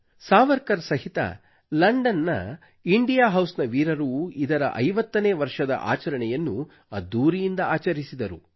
ಸಾವರ್ಕರ್ ಸಹಿತ ಲಂಡನ್ ನ India house ನ ವೀರರು ಇದರ 50 ನೇ ವರ್ಷದ ಆಚರಣೆಯನ್ನು ಅದ್ಧೂರಿಯಿಂದ ಆಚರಿಸಿದರು